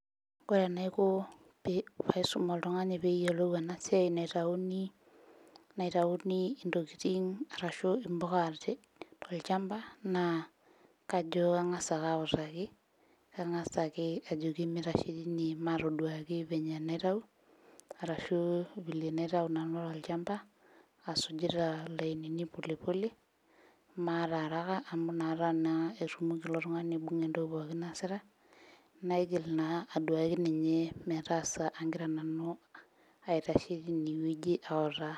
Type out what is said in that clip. Kore enaiko pee paisum oltung'ani peyiolou ena siai naitauni naitauni intokiting arashu impuka tolchamba naa kajo kang'as ake autaki kang'as ajoki mitashe teine matoduaki venye enaitau arashu vile enaitau nanu tolchamba asujita ilainini pole pole amu maata araka amu inkata naa etumoki ilo tung'ani aibung'a entoki pookin naasitae naigil naa aduaki ninye metaasa ankira nanu aitashe tinewueji autaa.